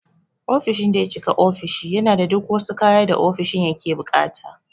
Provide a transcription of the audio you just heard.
Ofishin daya cika ofishi yana da duk wasu kaya da ofishin yake buƙata.